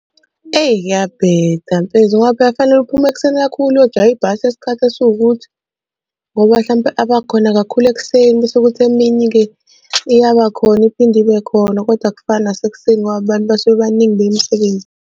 Eyi kuyabheda mfethu ngoba phela kufanele uphuma ekuseni kakhulu uyojaha ibhasi yesikhathi esiwukuthi ngoba hlampe abakhona kakhulu ekuseni bese kuthi emini-ke iyaba khona iphinde ibe khona kodwa akufani nasekuseni ngoba abantu basuke baningi beya .